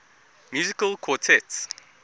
musical quartets